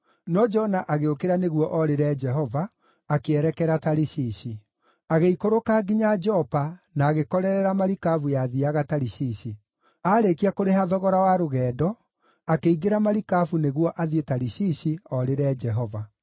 No Jona agĩũkĩra nĩguo orĩre Jehova, akĩerekera Tarishishi. Agĩikũrũka nginya Jopa na agĩkorerera marikabu yathiiaga Tarishishi. Aarĩkia kũrĩha thogora wa rũgendo, akĩingĩra marikabu nĩguo athiĩ Tarishishi, orĩre Jehova.